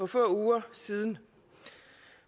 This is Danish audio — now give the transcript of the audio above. få uger siden